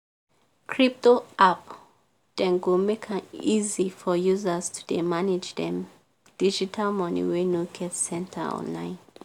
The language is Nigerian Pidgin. crypto app dem go make am easy for users to dey manage dem digital money wey no get center online.